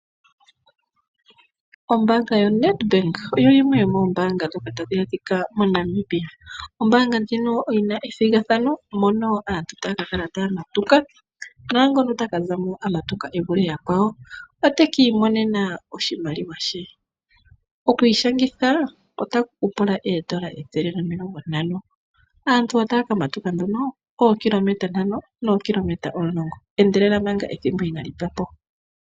Ombaanga yoNet Bank oyo yimwe yomoombaanga dhoka tadhi adhika moNamibia. Ombaanga ndjika oyina ethigathano mono aantu taya kamatuka , naangono taka zamo a matuka evule ooyakwawo ote kiimonena oshimaliwa she. Okwiishangitha otaku pula oodolla dhaNamibia ethele nomilongo ntano. Aantu otaya kamatuka nee ookilometa ntano nookilometa omulongo, endelela manga ethimbo inaali mpwapo.